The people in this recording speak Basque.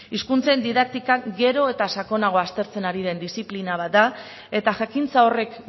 hizkuntzen didaktika gero eta sakonago aztertzen ari den diziplina bat da eta jakintza horrek